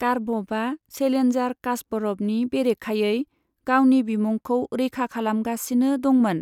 कारपभा चेलेन्जार कास्परभनि बेरेखायै गावनि बिमुंखौ रैखा खालामगासिनो दंमोन।